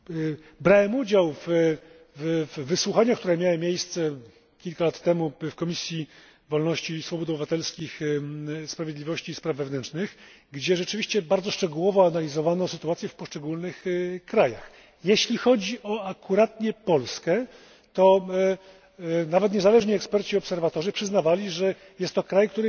Brałem udział w wysłuchaniach, które miały miejsce kilka lat temu w Komisji Wolności Obywatelskich, Sprawiedliwości i Spraw Wewnętrznych, gdzie rzeczywiście bardzo szczegółowo analizowano sytuację w poszczególnych krajach. Jeśli chodzi akurat o Polskę, to nawet niezależni eksperci i obserwatorzy przyznawali, że jest to kraj, którego